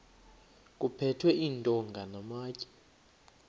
kuphethwe iintonga namatye